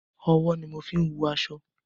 Ọwọ́ ni mo ń fín wun aṣọ.